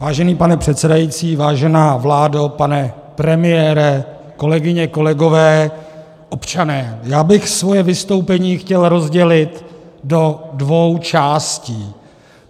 Vážený pane předsedající, vážená vládo, pane premiére, kolegyně, kolegové, občané, já bych svoje vystoupení chtěl rozdělit do dvou částí.